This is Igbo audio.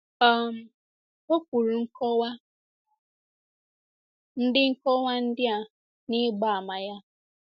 um O kwuru nkọwa ndị nkọwa ndị a n'ịgba àmà ya.